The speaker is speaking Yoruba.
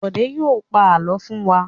Bọ̀dé yóò pa àlọ́ fún wa!